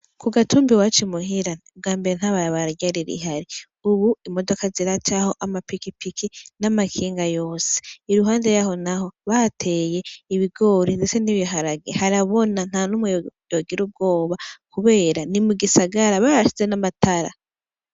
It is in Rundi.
Kugatumba iwacu muhira ubwambere ntabarabara ryari rihari ,ubu imodoka ziracaho ama pikipiki, n'amakinga yose, iruhande yaho naho bahateye ibigori ndetse n'ibiharage ,harabona ntanumwe yogira ubwoba kubera ni mugisagara barashizeho n'amatara.